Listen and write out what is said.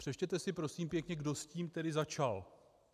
Přečtěte si prosím pěkně, kdo s tím tedy začal.